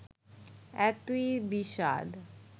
এতই বিষাদ